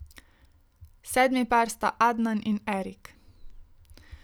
Sedmi par sta Adnan in Erik.